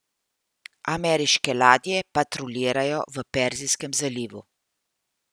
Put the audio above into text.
Ameriške ladje patruljirajo v Perzijskem zalivu.